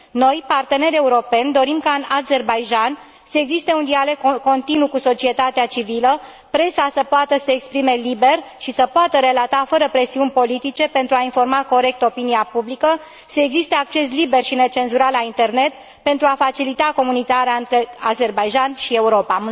Noi, partenerii europeni, dorim ca în Azerbaidjan să existe un dialog continuu cu societatea civilă, presa să poată să se exprime liber și să poată relata fără presiuni politice, pentru a informa corect opinia publică, să existe acces liber și necenzurat la Internet, pentru a facilita comunicarea între Azerbaidjan și Europa.